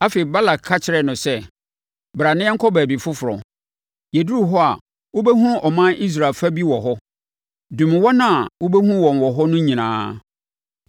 Afei, Balak ka kyerɛɛ no sɛ, “Bra na yɛnkɔ baabi foforɔ. Yɛduru hɔ a, wobɛhunu ɔman Israel fa bi wɔ hɔ. Dome wɔn a wobɛhu wɔn wɔ hɔ no nyinaa.”